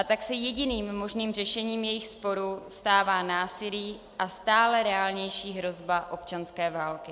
A tak se jediným možným řešením jejich sporu stává násilí a stále reálnější hrozba občanské války.